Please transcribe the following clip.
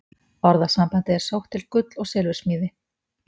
Orðasambandið er sótt til gull- og silfursmíði.